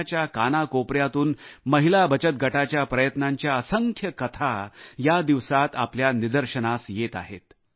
देशाच्या कानाकोपऱ्यातून महिला बचत गटाच्या प्रयत्नांच्या असंख्य कथा या दिवसात आपल्या निदर्शनास येत आहेत